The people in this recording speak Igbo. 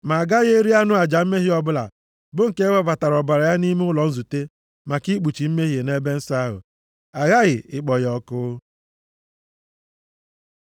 Ma a gaghị eri anụ aja mmehie ọbụla, bụ nke e webatara ọbara ya nʼime ụlọ nzute maka ikpuchi mmehie nʼEbe nsọ ahụ. Aghaghị ịkpọ ya ọkụ.